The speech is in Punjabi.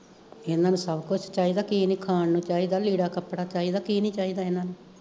ਏਨਾ ਨੂੰ ਸਭ ਕੁਛ ਚਾਈਦਾ ਕੀ ਨੀ ਖਾਣ ਨੂੰ ਚਾਈਦਾ ਲੀੜਾ ਕੱਪੜਾ ਚਾਈਦਾ ਕੀ ਨੀ ਚਾਈਦਾ ਏਨਾ ਨੂੰ